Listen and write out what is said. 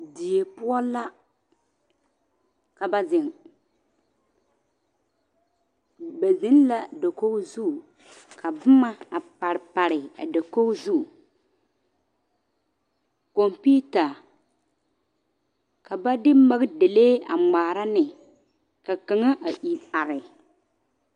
Die poɔ la ka ba zeŋ ba biŋ la dakogi zu ka boma a pare pare a dakogi zu kɔmpeta ka ba de makidalee a ŋmaara ne ka kaŋa a iri are.